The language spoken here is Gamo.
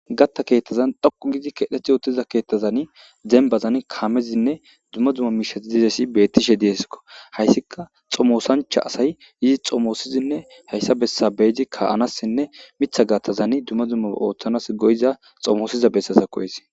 Gatta keettazan dhoqu gizi keedheth yootiza keettazani denbazan kaamezinne duma duma miishati dizesi beettishe dieskko hayssika xomoosancha asay yizi xomoosizinne hayssa bessa beedi ka7anassinne mitha gattazani duma dumma ooththanas goyiza xomoosiza bessasa hessi.